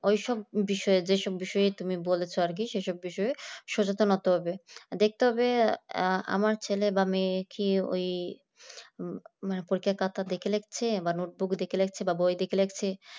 ওই সব বিষয়ে যে সব বিষয়ে তুমি বলেছ আর কি সে সব বিষয়ে সচেতন হতে হবে দেখতে হবে আমার ছেলে বা মেয়ে কি ওই পরীক্ষায় খাতা দেখে লিখছে বা notebook দেখে লিখছে বা বই দেখে লিখছে